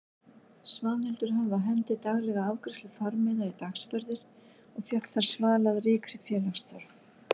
Svanhildur hafði á hendi daglega afgreiðslu farmiða í dagsferðir og fékk þar svalað ríkri félagsþörf.